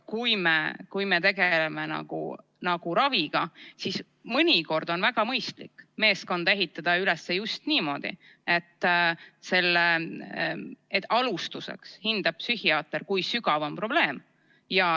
Kui me tegeleme raviga, siis mõnikord on väga mõistlik ehitada meeskond üles just niimoodi, et alustuseks hindab psühhiaater, kui sügav on probleem.